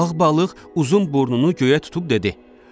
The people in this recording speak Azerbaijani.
Ağ balıq uzun burnunu göyə tutub dedi: